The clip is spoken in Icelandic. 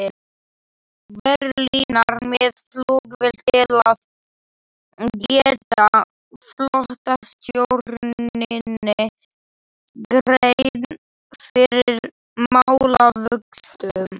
Berlínar með flugvél til að gera flotastjórninni grein fyrir málavöxtum.